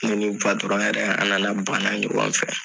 Ne ni yɛrɛ an na na bana ɲɔgɔn fɛ.